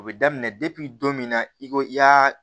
O bɛ daminɛ depi don min na i ko i y'a